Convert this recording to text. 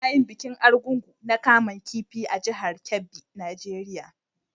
Ana yin bikin Argungu na kaman kifi a jihar Kebbi, Nigeria.